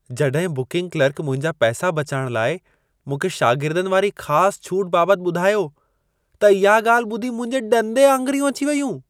जॾहिं booking clerk मुंहिंजा पैसा बचाइण लाइ मूंखे शागिर्दनि वारी ख़ासि छूट बाबत ॿुधायो, त इहा ॻाल्हि ॿुधी मुंहिंजे ॾंदे आङिरियूं अची वेयूं।